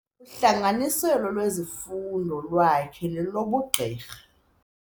Uhlanganiselo lwezifundo lwakhe lelobugqirha.